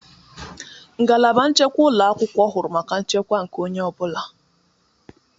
Ngalaba nchekwa ụlọ akwụkwọ huru maka nchekwa nke onye ọ bụla.